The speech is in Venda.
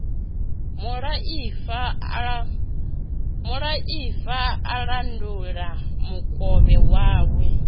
muḽaifa a landula mukovhe wawe